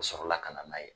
U sɔrɔ la ka na n'a ye